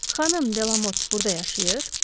Xanım Delamot burda yaşayır?